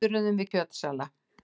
Döðruðum við kjötsala.